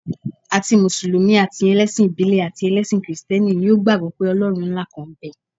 Àti mùsùlùmí, àti ẹlẹ́sìn ìbílẹ̀ àti ẹlẹ́sìn kìrìsìtẹ́nì ni ó gbàgbọ́ pé Ọlọ́run ńlá kan ń bẹ.